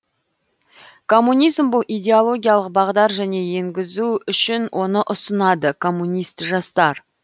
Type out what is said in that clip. коммунизм бұл идеологиялық бағдар және енгізу үшін оны ұсынады комунист жастар